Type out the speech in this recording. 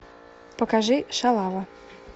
покажи шалава